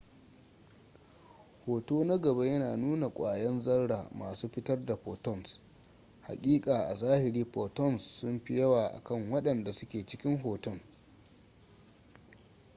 hoto na gaba yana nuna kwayan zarra masu fitar da photons hakika a zahiri photons sunfi yawa akan waɗanda suke cikin hoton